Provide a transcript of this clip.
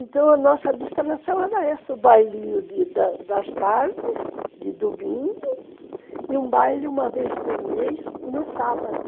Então a nossa distração era essa, o bailinho das das tardes, de domingo, e um baile uma vez por mês, no sábado.